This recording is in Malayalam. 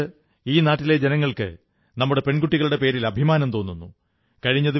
നമുക്ക് ഈ നാട്ടിലെ ജനങ്ങൾക്ക് നമ്മുടെ പെൺകുട്ടികളുടെ പേരിൽ അഭിമാനം തോന്നുന്നു